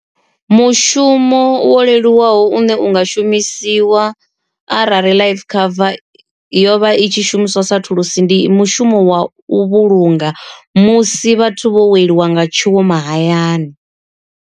Mushumo wo leluwaho une unga shumisiwa arali life cover yo vha i tshi shumiswa sa thulusi, ndi mushumo wa u vhulunga musi vhathu vho weliwa nga tshiwo mahayani.